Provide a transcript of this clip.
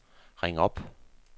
ring op